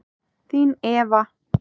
Þín Eva.